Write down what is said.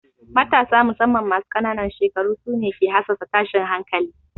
Matasa musamman masu ƙanan shekaru su ne ke hassasa tashin hankali.